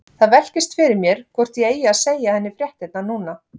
Það velkist fyrir mér hvort ég eigi að segja henni fréttirnar núna.